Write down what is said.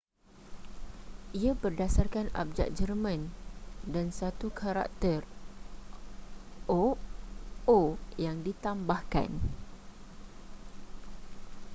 ia berdasarkan abjad jerman dan satu karakter õ/õ” yang ditambahkan